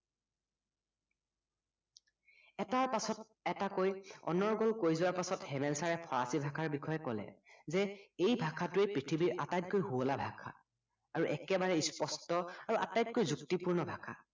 এটাৰ পাছত এটাকৈ অনৰ্গল কৈ যোৱাৰ পাছত হেমেল চাৰে ফৰাচী ভাষাৰ বিষয়ে কলে যে এই ভাষাটোৱে পৃথিৱীৰ আটাইতকৈ সুৱলা ভাষা আৰু একেবাৰে স্পস্ট আৰু আটাইতকৈ যুক্তিপূূৰ্ণ ভাষা